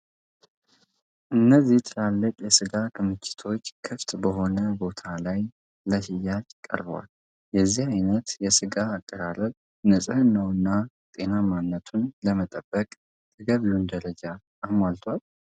እነዚህ ትላልቅ የስጋ ክምችቶች ክፍት በሆነ ቦታ ላይ ለሽያጭ ቀርበዋል። የዚህ አይነት የስጋ አቀራረብ ንፅህናውንና ጤናማነቱን ለመጠበቅ ተገቢውን ደረጃ አሟልቷል?